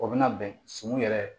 O bɛna bɛn sumu yɛrɛ